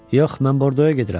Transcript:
Yox, mən Bordoya gedirəm.